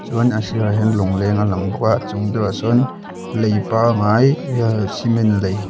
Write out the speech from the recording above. uan a sirah hian lawngleng a lang bawka chungah deuhah sawn lei pangngai cement lei.